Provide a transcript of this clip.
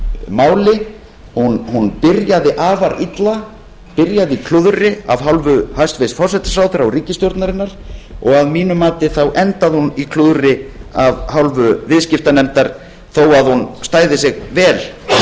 máli byrjaði afar illa byrjaði í klúðri af hálfu hæstvirts forsætisráðherra og ríkisstjórnarinnar og að mínu mati endaði hún í klúðri af hálfu viðskiptanefndar þó að hún stæði sig vel